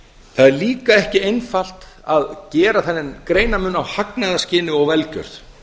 það er líka ekki einfalt að gera þennan greinarmun á hagnaðarskyni og velgjörð